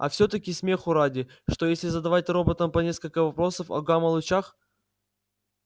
а всё-таки смеху ради что если задавать роботам по нескольку вопросов о гамма-лучах